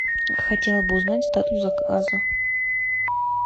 хотела бы узнать статус заказа